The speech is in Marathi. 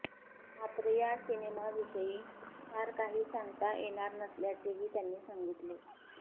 मात्र या सिनेमाविषयी फार काही सांगता येणार नसल्याचेही त्यांनी सांगितले